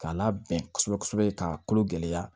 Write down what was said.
K'a labɛn kosɛbɛ kosɛbɛ ka kolo gɛlɛya